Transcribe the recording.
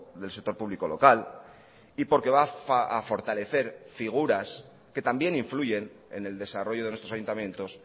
del sector público local y porque va a fortalecer figuras que también influyen en el desarrollo de nuestros ayuntamientos